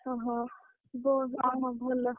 ଓହୋ ଅହଉ ଭଲ।